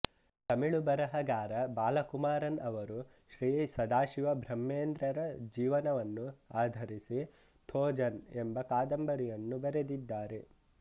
ತಮಿಳು ಬರಹಗಾರ ಬಾಲಕುಮಾರನ್ ಅವರು ಶ್ರೀ ಸದಾಶಿವ ಬ್ರಹ್ಮೇಂದ್ರರ ಜೀವನವನ್ನು ಆಧರಿಸಿ ಥೋಜನ್ ಎಂಬ ಕಾದಂಬರಿಯನ್ನು ಬರೆದಿದ್ದಾರೆ